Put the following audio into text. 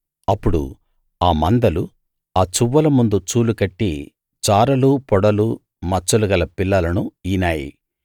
అప్పుడు ఆ మందలు ఆ చువ్వల ముందు చూలు కట్టి చారలు పొడలు మచ్చలు గల పిల్లలను ఈనాయి